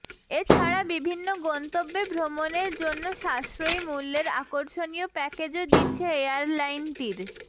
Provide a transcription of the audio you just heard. এ ছাড়া বিভিন্ন গন্তব্যে ভ্রমণের জন্য সাশ্রয়ী মূল্যের আকর্ষণীয় প্যাকেজও দিচ্ছে এয়ারলাইনটির